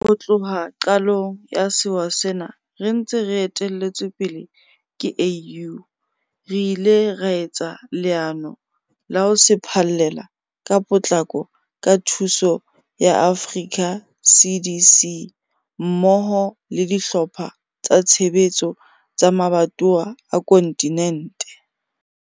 Ho tloha qalong ya sewa sena re ntse re etelletswe pele ke AU, re ile ra etsa leano la ho se phallela ka potlako ka thuso ya Africa CDC mmoho le dihlopha tsa tshebetso tsa mabatowa a kontinente.